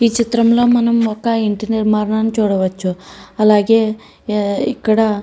ఈ చిత్రంలో మనం ఒక ఇంటి నిర్మాణాన్ని చూడవచ్చు. అలాగే ఇక్కడ --